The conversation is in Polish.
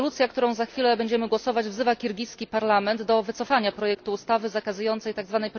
Rezolucja, nad którą za chwilę będziemy głosować wzywa kirgiski parlament do wycofania projektu ustawy zakazującej tzw.